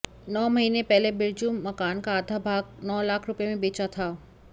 नौ महीने पहले बिरजू मकान का आधा भाग नौ लाख रुपये में बेचा था